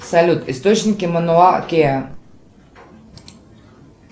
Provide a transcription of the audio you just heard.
салют источники мануа киа